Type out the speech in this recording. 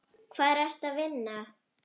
Hvar ertu að vinna?